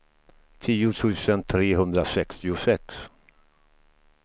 tio tusen trehundrasextiosex